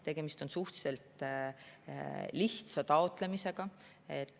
Tegemist on suhteliselt lihtsa taotlemisega.